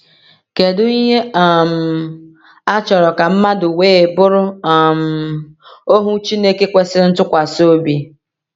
Kedu ihe um a chọrọ ka mmadụ wee bụrụ um ohu Chineke kwesịrị ntụkwasị obi?